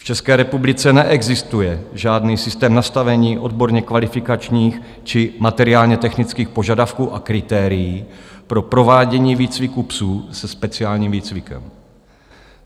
V České republice neexistuje žádný systém nastavení odborně kvalifikačních či materiálně-technických požadavků a kritérií pro provádění výcviku psů se speciálním výcvikem.